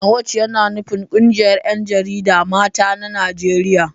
NAWOJ yana nufin ƙungiyar ƴanjarida mata na Najeriya